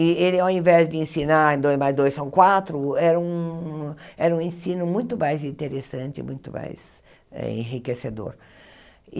E ele, ao invés de ensinar dois mais dois são quatro, era um era um ensino muito mais interessante, muito mais eh enriquecedor.